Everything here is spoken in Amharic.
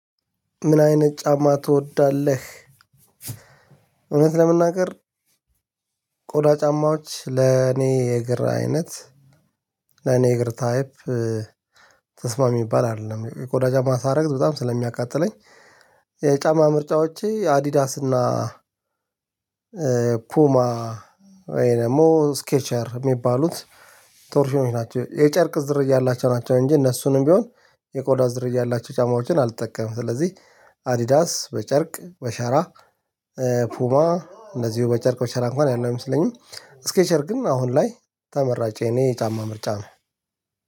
ምን አይነት ጫማ ትወዳለህ? እውነት ለመናገር ቆዳ ጫማዎች ለኔ የእግር አይነት ለኔ እግር ታይፕ ተስማሚ ሚባል አይደለም የቆዳ ጫማ ሳደርግ በጣም ስለሚያቃጥለኝ። የጫማ ምርጫዎቼ አዲዳስና ፑማ ወይ ደግሞ ስኬቸር የሚባሉት ቶርሽኖች ናቸው የጨርቅ ዝርያ ያላቸው ናቸው እንጂ እነሱንም ቢሆን የቆዳ ዝርያ ያላቸው ጫማዎችን አልጠቀምም። ስለዚህ አዲዳስ በጨርቅ በሸራ ፑማ እንደዚሁ በጨርቅ በሸራ እንኳን ያለው አይመስለኝም። ስኬቸር ግን አሁን ላይ ተመራጨ የኔ የጫማ ምርጫ ነው።